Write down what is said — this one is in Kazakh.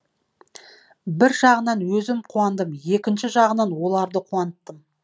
бір жағынан өзім қуандым екінші жағынан оларды қуанттым